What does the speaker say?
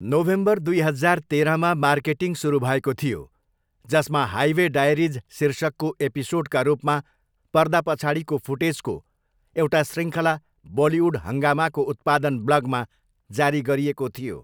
November दुई हजार तेह्रमा मार्केटिङ सुरु भएको थियो जसमा 'हाइवे डायरिज' शीर्षकको एपिसोडका रूपमा पर्दा पछाडिको फुटेजको एउटा शृङ्खला बलिउड हङ्गामाको उत्पादन ब्लगमा जारी गरिएको थियो।